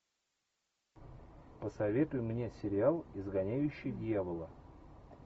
посоветуй мне сериал изгоняющий дьявола